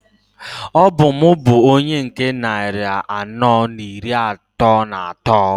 Ọ bụ m bu onye nke nnari anọọ n'iri atọọ n'atọọ.